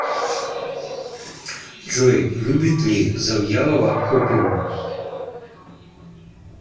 джой любит ли завьялова оперу